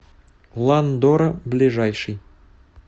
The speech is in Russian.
ландора ближайший